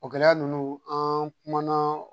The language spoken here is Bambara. O gɛlɛya ninnu an kumana